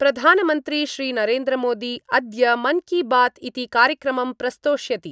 प्रधानमंत्री श्रीनरेन्द्रमोदी अद्य मन् की बात् इति कार्यक्रमं प्रस्तोष्यति।